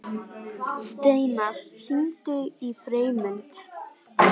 Steinar, hringdu í Freymund.